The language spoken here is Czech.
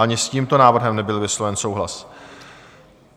Ani s tímto návrhem nebyl vysloven souhlas.